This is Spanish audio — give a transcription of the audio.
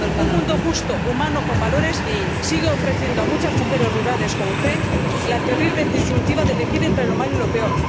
Un mundo justo, humano, con valores sigue ofreciendo a muchas mujeres rurales, como Ifé, la terrible disyuntiva de elegir entre lo malo y lo peor.